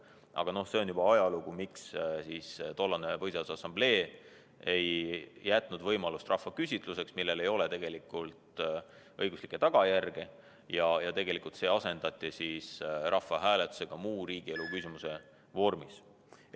Aga see on juba ajalugu, miks tollane Põhiseaduse Assamblee ei jätnud võimalust rahvaküsitluseks, millel tegelikult õiguslikke tagajärgi ei ole, ja see asendati rahvahääletusega muu riigielu küsimuse vormis.